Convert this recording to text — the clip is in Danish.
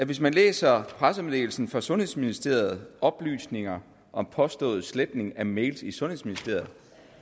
hvis man læser pressemeddelelsen fra sundhedsministeriet oplysninger om påstået sletning af mails i sundhedsministeriet